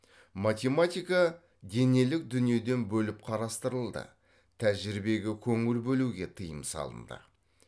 математика денелік дүниеден бөліп қарастырылды тәжірибеге көңіл бөлуге тыйым салынды